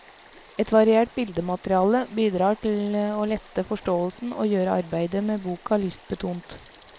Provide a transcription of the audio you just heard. Et variert bildemateriale bidrar til å lette forståelsen og gjøre arbeidet med boka lystbetont.